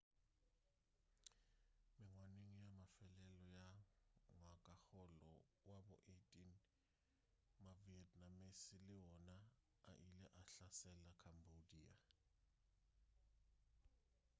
mengwageng ya mafelelo ya ngwagakgolo wa bo 18 ma-vietnamese le wona a ile a hlasela cambodia